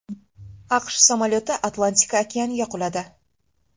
AQSh samolyoti Atlantika okeaniga quladi.